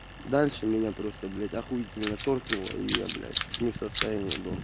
дальше меня просто блять ахуительно торкнуло и я блять не в состоянии был